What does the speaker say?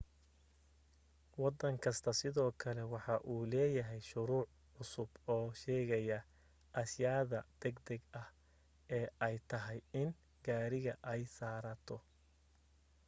waddan kasta sidoo kale waxa uu leeyahay shuruuc cusub oo sheegaya ashayaada degdeg ah ee ay tahay in gaariga ay saaraato